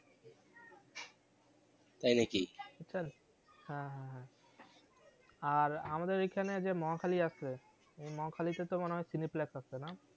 তাই নাকি? বুঝছেন হ্যাঁ হ্যাঁ হ্যাঁ আর আমাদের ঐখানে যে মহাখালী আসে ওই মহাখালী তে তো মনে হয় আসে না?